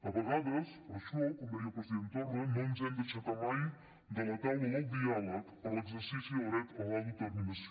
a vegades per això com deia el president torra no ens hem d’aixecar mai de la taula del diàleg per a l’exercici del dret a l’autodeterminació